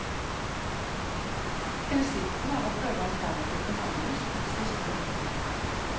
Hensikten var å prøve alternativ behandling som en siste mulighet.